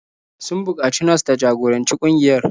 Sun buƙaci nas ta jagoranci ƙungiyar.